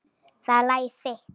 Það er lagið þitt.